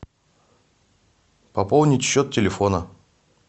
пополнить счет телефона